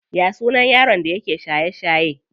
Ya sunan yaron da yake shaye shaye?